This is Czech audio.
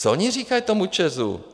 Co oni říkají tomu ČEZu?